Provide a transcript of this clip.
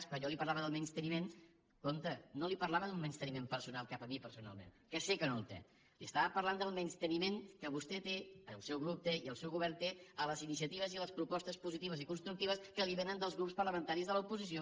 quan jo li parlava del menysteniment compte no li parlava d’un menysteniment personal cap a mi personalment que sé que no el té li estava parlant del menysteniment que vostè té el seu grup té i el seu govern té a les iniciatives i a les propostes positives i constructives que li vénen dels grups parlamentaris de l’oposició